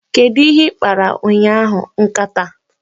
Kedu ihe ị kpara ụnyahụ, nkata?